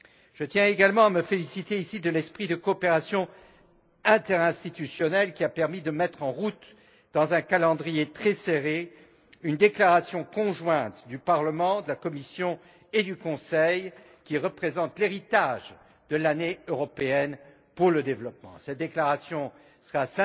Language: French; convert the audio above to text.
Je tiens également à me féliciter, ici, de l'esprit de coopération interinstitutionnelle qui a permis de mettre en route, dans un calendrier très serré, une déclaration conjointe du Parlement, de la Commission et du Conseil, qui représente l'héritage de l'Année européenne pour le développement. Cette déclaration sera